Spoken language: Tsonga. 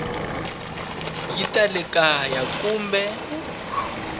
ya ta le kaya kumbe